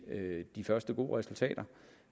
de første gode resultater